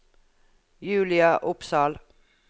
Julia Opsahl